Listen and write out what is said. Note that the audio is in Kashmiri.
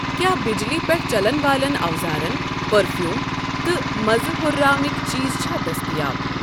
کیٛاہ بِجلی پیٚٹھ چَلن والٮ۪ن اَوزارن، پٔرفیٛوٖم تہٕ مزٕ ہُرراونٕکؠ چیٖز چھےٚ دٔستیاب۔